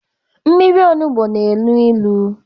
Mmiri onugbu na enu ilu